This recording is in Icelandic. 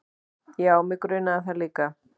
Já, mig grunaði það líka.